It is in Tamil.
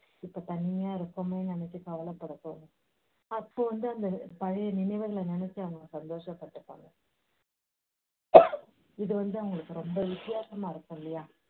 இப்போ தனியா இருக்கோமேன்னு நினைச்சு கவலைப்பட தோணும். அப்போ வந்து அந்த பழைய நினைவுகளை நினைச்சு அவங்க சந்தோஷப் பட்டுப்பாங்க. இது வந்து அவங்களுக்கு ரொம்ப வித்தியாசமா இருக்கும் இல்லையா?